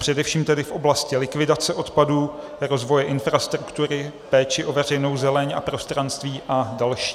Především tedy v oblasti likvidace odpadů, rozvoje infrastruktury, péče o veřejnou zeleň a prostranství a další.